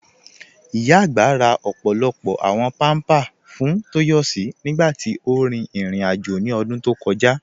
Ìyá agbá rà ọ́pọ̀lọ́pọ̀ àwọn pampa fún Toyosi nígbàtí ó rí irin-àjọ̀ ní ọdún tó kọ̀jà.